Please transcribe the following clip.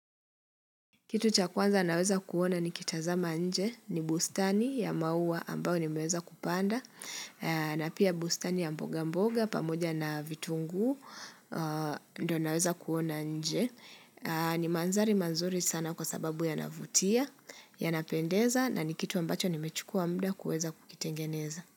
Kitu cha kwanza naweza kuona nikitazama nje ni bustani ya maua ambao nimeweza kupanda na pia bustani ya mboga mboga pamoja na vitunguu ndio naweza kuona nje ni mandhari mazuri sana kwa sababu yanavutia yanapendeza na ni kitu ambacho nimechukua muda kuweza kukitengeneza.